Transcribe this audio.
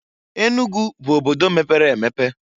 Enugu bu obodo mepere emepe.